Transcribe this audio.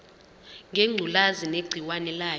ngengculazi negciwane layo